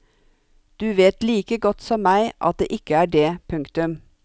Du vet like godt som meg at det ikke er det. punktum